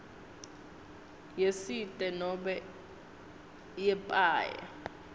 yesite nobe yepaye